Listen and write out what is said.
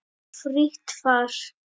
Frítt far.